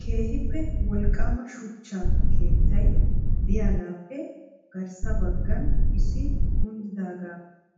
Keehippe wolqqaama shuchcha keettay de'iyaagappe garssa baggan issi kunddidaana